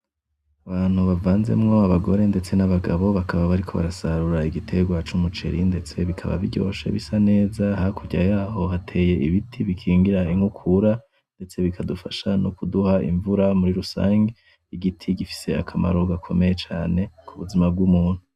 Abantu bavanzemwo Abagore n'Abagabo ndetse bakaba bariko barasarura igiterwa c'umuceri, ndetse bikaba biryoshe bisa neza hakurya yaho hateye ibiti bikingira inkukura, ndetse bikadufasha kuduha imvura muri rusangi. Igiti gifise akamaro gakomeye cane kubuzima bw'umuntu.